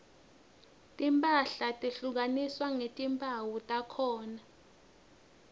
timphahla tehlukaniswa ngetimphawu takhona